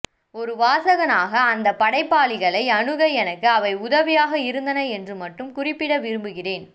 ஒரு வாசகனாக அந்தப்படைப்பாளிகளை அணுக எனக்கு அவை உதவியாக இருந்தன என்று மட்டும் குறிப்பிட விரும்புகிறேன்